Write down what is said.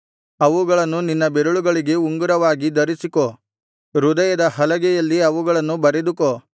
ಅವುಗಳನ್ನು ನಿನ್ನ ಬೆರಳುಗಳಿಗೆ ಉಂಗುರವಾಗಿ ಧರಿಸಿಕೋ ಹೃದಯದ ಹಲಗೆಯಲ್ಲಿ ಅವುಗಳನ್ನು ಬರೆದುಕೋ